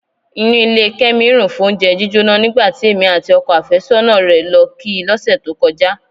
Inú ilé Kẹ́mi rùn fóúnjẹ jíjóná nígbà tí èmi àti ọkọ àfẹ́sọ́nà rẹ̀ lọ kí i lọ́sẹ̀ tó kọjá.